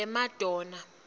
lemadonna